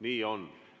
Nii on.